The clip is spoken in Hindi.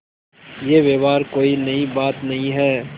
यह व्यवहार कोई नई बात नहीं है